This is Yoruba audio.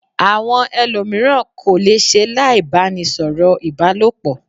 Àwọn ẹlòmíràn kò le se láì bá ni sọ̀rọ̀ ìbálòpọ̀